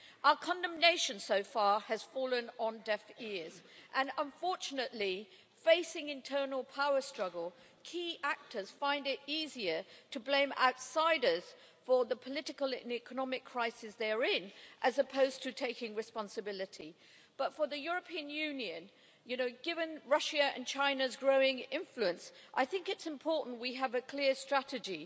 Our condemnation so far has fallen on deaf ears and, unfortunately, facing internal power struggle, key actors find it easier to blame outsiders for the political and economic crisis they're in, as opposed to taking responsibility. But for the European Union, given Russia and China's growing influence, I think it's important we have a clear strategy.